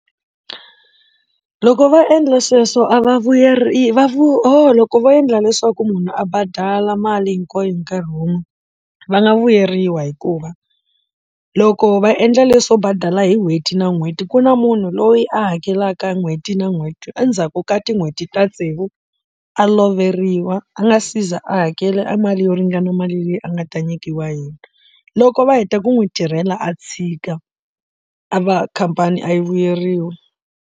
Loko va endla sweswo a va vuyeriwi va vu ohoo loko vo endla leswaku munhu a badala mali hinkwayo hi nkarhi wun'we va nga vuyeriwa hikuva loko va endla leswo badala hi n'hweti na n'hweti ku na munhu loyi a hakelaka n'hweti na n'hweti endzhaku ka tin'hweti ta tsevu a loveriwa a nga siza a hakela mali yo ringana mali leyi a nga ta nyikiwa hina loko va heta ku n'wi tirhela a chika a va khampani a yi vuyeriwa.